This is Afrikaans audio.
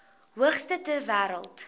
hoogste ter wêreld